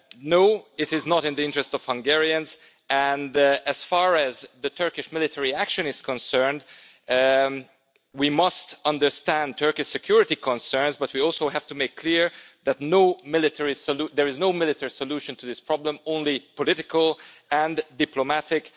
No, it is not in the interest of Hungarians, and as far as the Turkish military action is concerned, we must understand Turkish security concerns, but we also have to make it clear that there is no military solution to this problem, only political and diplomatic.